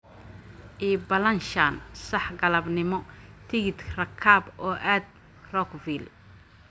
ii ballanshan saax galabnimo tigidh rakaab oo aad Rockville